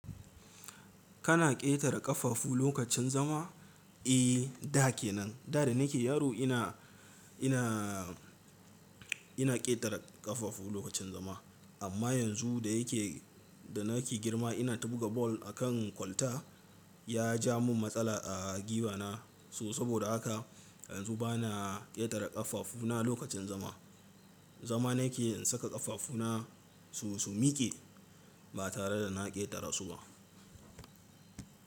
Kana ƙetare ƙafafu lokacin zama? Eh, da ke nan, da da nike yaro ina, ina, ina ƙetare ƙafafu lokacin zama. Amma yanzu da yake, da nake girma ina ta buga ball a kan kwalta, ya ja mun matsala a gwiwa na. So saboda haka yanzu bana ƙetare ƙafafuna lokacin zama. Zama nake in saka ƙafafuna su, su mike ba tare da na ƙetare su ba.